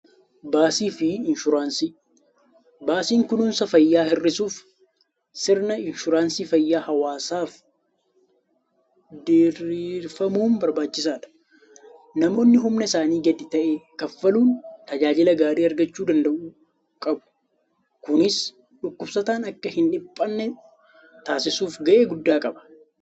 Baasii fi Inshuuraansii: Baasiin kunuunsa fayyaa hir'isuuf sirna inshuraansii fayyaa hawaasaaf diriirfamuun barbaachisaadha. Namoonni humna isaanii gadi ta'e kanfaluun tajaajila gaarii argachuu danda'u qabu. Kunis dhukkubsataan akka hin dhiphanne taasisuuf gahee guddaa qaba.